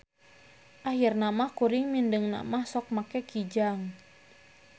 Ahirna mah kuring mindengna mah sok make KIJANG.